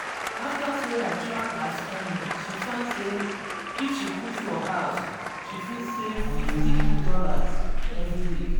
after sarah track her spending she find say if she cook for house she fit save fifty dollarsevery week.